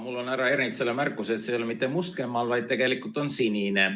Mul on härra Ernitsale märkus, et see ei ole mitte must kämmal, vaid tegelikult on sinine.